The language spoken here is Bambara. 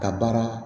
Ka baara